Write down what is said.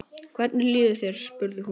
Hvernig líður þér? spurði hún.